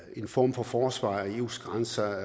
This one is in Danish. en form for forsvar af eus grænser